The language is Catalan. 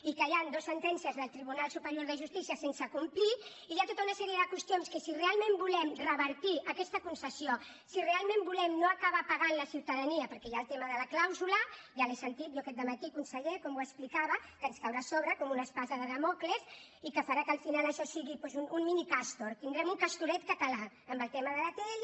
i que hi han dues sentències del tribunal superior de justícia sense complir i hi ha tota una sèrie de qüestions que si realment volem revertir aquesta concessió si realment volem no acabar pagant la ciutadania perquè hi ha el tema de la clàusula ja l’he sentit jo aquest dematí conseller com ho explicava que ens caurà a sobre com una espasa de dàmocles i que farà que al final això sigui un mini castor tindrem un castoret català amb el tema de l’atll